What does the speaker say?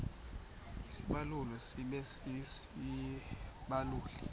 isibaluli sibe sisibaluli